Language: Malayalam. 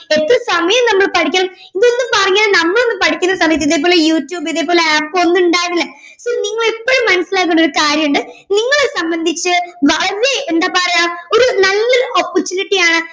എത്ര സമയം നമ്മൾ പഠിക്കണം ഇതൊന്നും പറഞ്ഞു തരാൻ നമ്മളൊന്നും പഠിക്കുന്ന സമയത്ത്‌ ഇതേ പോലെ യൂട്യൂബ് ഇതേപോലെ app ഒന്നും ഉണ്ടായിരുന്നില്ല so നിങ്ങളെപ്പഴും മനസ്സിലാക്കേണ്ടുന്ന ഒരു കാര്യം ഉണ്ട് നിങ്ങളെ സംബന്ധിച് വളരെ എന്താ പറയുവാ ഒരു നല്ല opportunity ആണ്